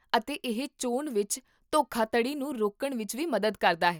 ਅਤੇ ਇਹ ਚੋਣ ਵਿੱਚ ਧੋਖਾਧੜੀ ਨੂੰ ਰੋਕਣ ਵਿੱਚ ਵੀ ਮਦਦ ਕਰਦਾ ਹੈ